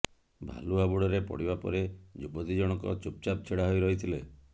ଭାଲୁ ହାବୁଡରେ ପଡିବା ପରେ ଯୁବତୀ ଜଣକ ଚୁପଚାପ୍ ଛିଡା ହୋଇରହିଥିଲେ